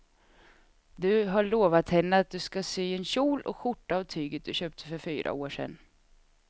Du har lovat henne att du ska sy en kjol och skjorta av tyget du köpte för fyra år sedan.